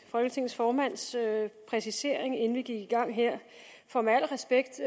folketingets formands præcisering inden vi gik i gang her for med al respekt